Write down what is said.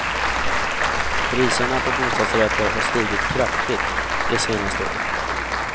Priserna på bostadsrätter har stigit kraftigt de senaste åren.